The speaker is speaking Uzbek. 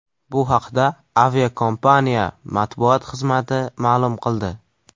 Bu haqda aviakompaniya matbuot xizmati ma’lum qildi .